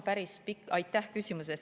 Aitäh küsimuse eest!